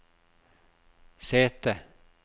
sete